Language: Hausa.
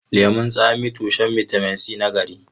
Lemun tsami tushen bitamin C na nagari.